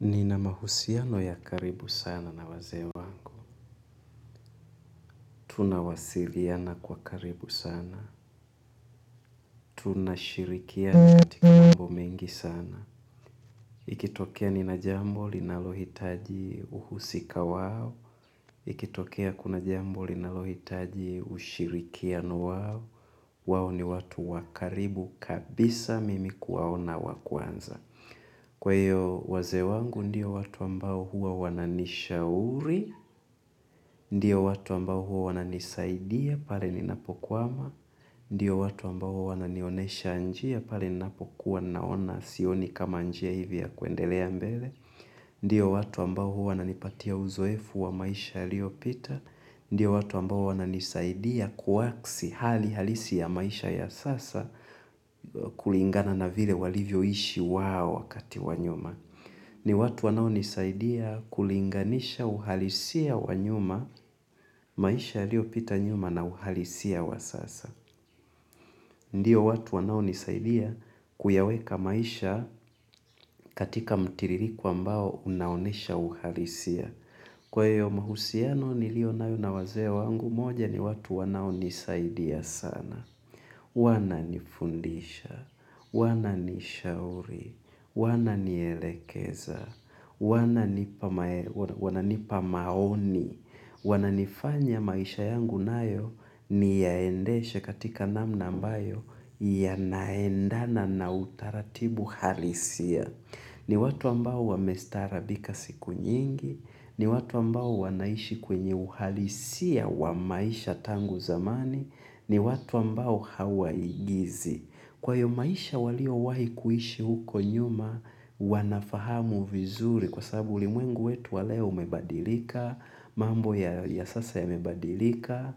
Nina mahusiano ya karibu sana na wazee wangu tunawasiliana kwa karibu sana, tunashirikiana katika mambo mengi sana. Ikitokea nina jambo linalohitaji uhusika wao, ikitokea kuna jambo linalohitaji ushirikiano wao, wao ni watu wa karibu kabisa mimi kuwaona wa kwanza kwa hio wazee wangu ndio watu ambao huwa wananishauri ndio watu ambao huwa wananisaidia pale ninapo kwama ndiyo watu ambao huwa wananionyesha njia pale ninapokuwa naona sioni kama njia hivi ya kuendelea mbele, ndiyo watu ambao huwa wananipatia uzoefu wa maisha yalio pita ndio watu ambao wananisaidia kuwaksi hali halisi ya maisha ya sasa kulingana na vile walivyo ishi wao wakati wa nyuma ni watu wanao nisaidia kulinganisha uhalisia wa nyuma maisha yalio pita nyuma na uhalisia wa sasa ndio watu wanao nisaidia kuyaweka maisha katika mtiririko ambao unaonyesha uhalisia, kwa hio mahusiano nilio nayo na wazee wangu, moja ni watu wanao nisaidia sana, wananifundisha, wananishauri, wananielekeza, wananipa wana nipa maoni, wana nifanya maisha yangu nayo niyaendeshe katika namna ambayo yanaendana na utaratibu halisia ni watu ambao wame starabika siku nyingi, ni watu ambao wanaishi kwenye uhalisia wa maisha tangu zamani, ni watu ambao hawa igizi. Kwa hio maisha walio wahi kuishi huko nyuma, wanafahamu vizuri kwa sababu ulimwengu wetu wa leo umebadilika, mambo ya sasa yamebadilika,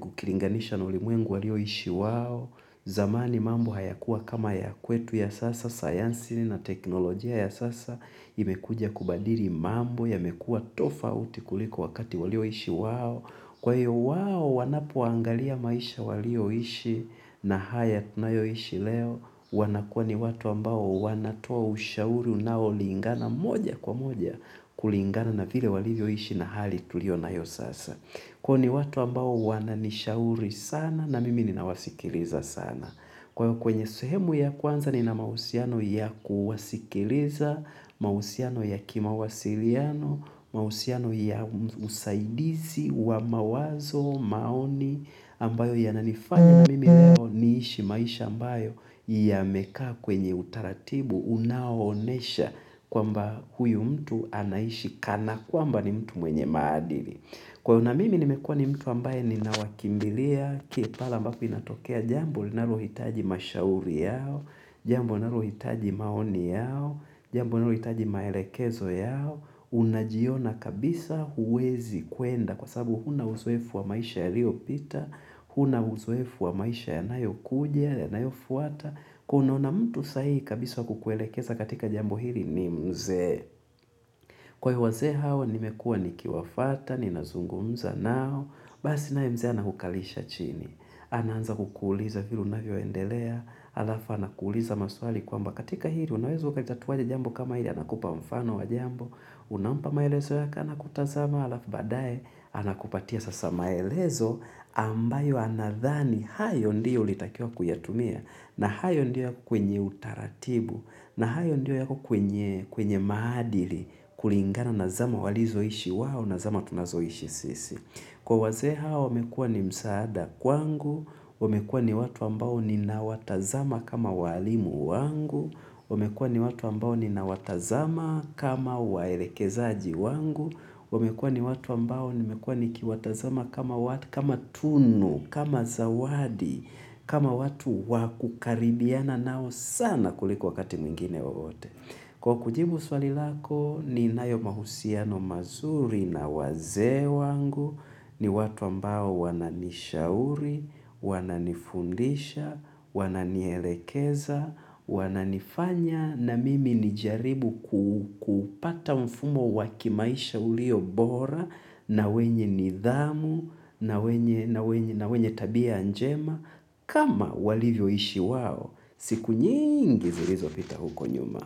ukilinganisha na ulimwengu walioishi wao, zamani mambo haya kuwa kama ya kwetu ya sasa science na teknolojia ya sasa, imekuja kubadili mambo yamekua tofauti kuliko wakati walio ishi wao. Kwa hiyo wao wanapoangalia maisha walio ishi na haya tunayo ishi leo, wanakuwa ni watu ambao wanatoa ushauri unao lingana moja kwa moja kulingana na vile walivyo ishi na hali tulio nayo sasa. Kwa hio ni watu ambao wananishauri sana na mimi ninawasikiliza sana. Kwa hio kwenye suhemu ya kwanza ni na mahusiano ya kuwasikiliza, mahusiano ya kimawasiliano, mahusiano ya usaidizi wa mawazo, maoni ambayo ya nanifanyana mimi leo niishi maisha ambayo yamekaa kwenye utaratibu unaonyesha kwamba huyu mtu anaishi kana kwamba ni mtu mwenye maadili. Kwa hio na mimi nimekua ni mtu ambaye ni nawakimbilia pale ambako inatokea jambu linalohitaji mashauri yao, jambo nalohitaji maoni yao, jambo nalohitaji maelekezo yao, unajiona kabisa huwezi kwenda kwa sabubu huna uzoefu wa maisha ya lio pita, huna uzoefu wa maisha ya nayo kuja, ya nayo fuata. Kwa hio unaona mtu sahihi kabisa kukuelekeza katika jambo hili ni mzee. Kwa hio wazee hawa nimekua ni kiwafata, ni nazungumza nao. Basi naye mzee ana kukalisha chini. Anaanza kukuuliza vile unavyo endelea. Alafa anakuuliza maswali kwamba katika hili unaweza ukatatua aje jambo kama hili anakupa mfano wa jambo. Unampa maelezo yako ana kutazama alafu baadae. Anakupatia sasa maelezo ambayo anadhani. Hayo ndio ulitakiwa kuyatumia na hayo ndio yako kwenye utaratibu na hayo ndio yako kwenye maadili kulingana na zama walizoishi wao na zama tunazoishi sisi. Kwa wazee hao, wamekua ni msaada kwangu, wamekua ni watu ambao ni na watazama kama walimu wangu, wamekua ni watu ambao ni na watazama kama waelekezaji wangu, wamekua ni watu ambao ni mekua ni kiwatazama kama tunu, kama zawadi, kama watu wakukaribiana nao sana kuliko wakati mwingine wowote. Kwa kujibu swali lako ni nayo mahusiano mazuri na wazee wangu ni watu ambao wananishauri, wananifundisha, wananielekeza, wananifanya na mimi nijaribu kuupata mfumo wa kimaisha ulio bora na wenye nidhamu na wenye tabia njema kama walivyo ishi wao siku nyingi zilizo pita huko nyuma.